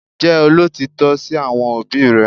Jẹ́ olótìítọ́ sí àwọn òbí rẹ